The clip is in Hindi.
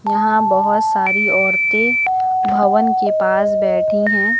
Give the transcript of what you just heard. यहां बहुत सारी औरतें भवन के पास बैठी हैं।